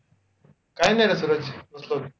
काय नाय, ऋतुराज बसलोय.